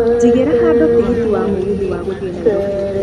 jigira handũ tigiti wa mũgithi wa gũthiĩ Nairobi.